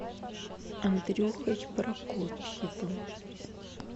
андрюхой прокопьевым